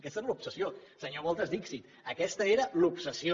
aquesta era l’obsessió senyor voltas dixit aquesta era l’obsessió